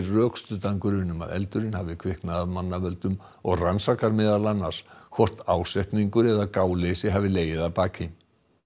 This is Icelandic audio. rökstuddan grun um að eldurinn hafi kviknað af mannavöldum og rannsakar meðal annars hvort ásetningur eða gáleysi hafi legið að baki